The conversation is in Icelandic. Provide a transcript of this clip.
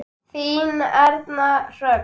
Þín Erna Hrönn.